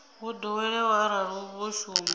wo ḓoweleaho arali vho shuma